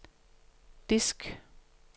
disk